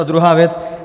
A druhá věc.